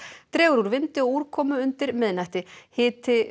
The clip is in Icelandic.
dregur úr vindi og úrkomu undir miðnætti hiti